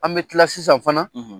An bɛ kila sisan fana.